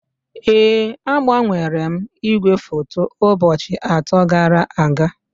Ee, agbanwere m igwefoto ụbọchị atọ gara aga